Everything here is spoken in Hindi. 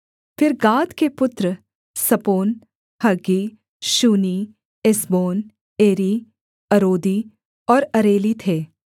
फिर गाद के पुत्र Zephon Haggi Shuni Ezbon Eri Arodi और अरेली थे